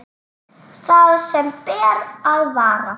Það sem ber að varast